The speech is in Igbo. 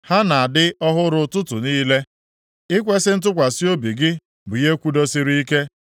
Ha na-adị ọhụrụ ụtụtụ niile; ikwesi ntụkwasị obi gị bụ ihe kwudosiri ike.